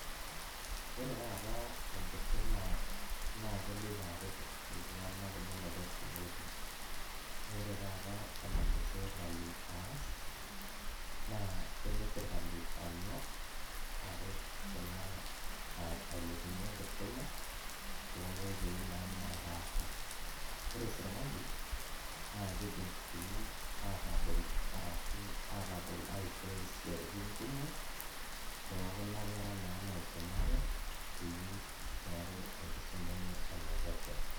Ore taata enkisuma naa keloito aret iltunganak menoto siatin amu ore taata enalosirkali aas naa kelo sirkali anyok aret kuna , ailepunyie enkisuma toonkoitoi naa naapasha . Ore sirkali naa kidim sii atabol ashu atabol aishoi isiatin kumok tookuna kera naa naisumate peyie meaku enkisuma enye enepesho.